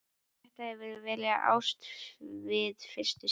Þetta hefur verið ást við fyrstu sýn.